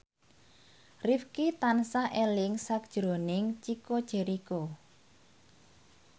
Rifqi tansah eling sakjroning Chico Jericho